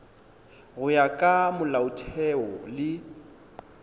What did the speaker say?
go ya ka molaotheo le